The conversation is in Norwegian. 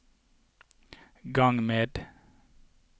gang med